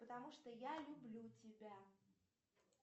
потому что я люблю тебя